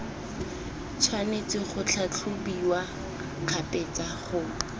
tshwanetse go tlhatlhobiwa kgabetsa go